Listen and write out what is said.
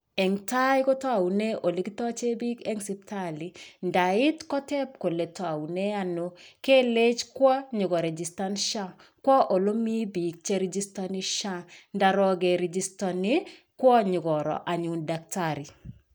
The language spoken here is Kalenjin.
Eng tai kotounee olekitoche biik eng siptali. Ndaiit koteeb kole taune ano, kelech kwo nyokorijistan SHA.Kwo ole mi biik cherijistani SHA.Ndarok kerijistani, kwo nyikoro anyun daktari.